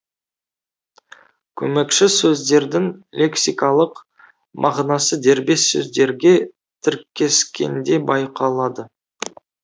көмекші сөздердің лексикалық мағынасы дербес сөздерге тіркескенде байқалады